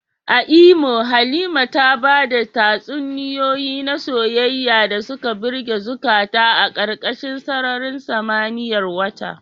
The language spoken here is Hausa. A Imo, Halima ta bada tatsuniyoyi na soyayya da suka birge zukata a karkashin sararin samaniyar wata.